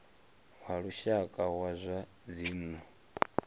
wa lushaka wa zwa dzinnu